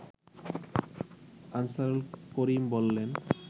আনসারুল করিম বলেন